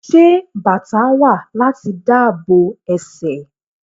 Ṣé bàtá wà láti dáàbò ẹsẹ̀?